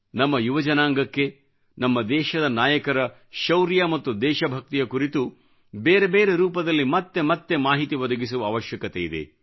ನಮ್ಮ ಯುವ ಜನಾಂಗಕ್ಕೆ ನಮ್ಮ ದೇಶದ ನಾಯಕರ ಶೌರ್ಯ ಮತ್ತು ದೇಶಭಕ್ತಿಯ ಕುರಿತು ಬೇರೆ ಬೇರೆ ರೂಪದಲ್ಲಿ ಮತ್ತೆ ಮತ್ತೆ ಮಾಹಿತಿ ಒದಗಿಸುವ ಅವಶ್ಯಕತೆಯಿದೆ